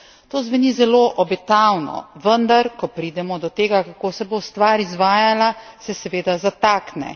To zveni zelo obetavno, vendar ko pridemo do tega, kako se bo stvar izvajala, se seveda zatakne.